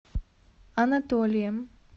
анатолием